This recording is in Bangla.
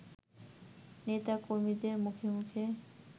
নেতা-কর্মীদের মুখে মুখে